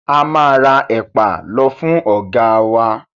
A máa ra ẹ̀pà lọ fún ọ̀gáa wa.